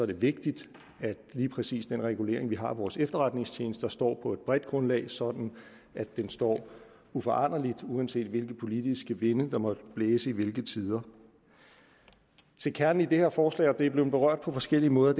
det vigtigt at lige præcis den regulering vi har af vores efterretningstjenester står på et bredt grundlag sådan at de består uforanderligt uanset hvilke politiske vinde der måtte blæse til hvilke tider til kernen i det her forslag og det er blevet berørt på forskellig måde er